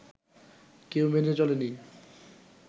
কেউ মেনে চলেনি